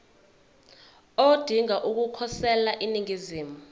odinga ukukhosela eningizimu